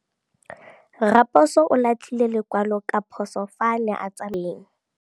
Raposo o latlhie lekwalô ka phosô fa a ne a tsamaisa poso mo motseng.